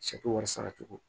wari sara cogo